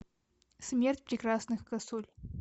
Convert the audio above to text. смерть прекрасных косуль